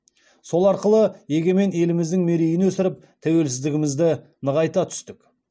сол арқылы егемен еліміздің мерейін өсіріп тәуелсіздігімізді нығайта түстік